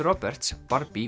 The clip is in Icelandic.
Roberts